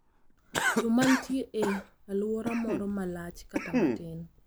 yo mantie e alwora moro malach kata matin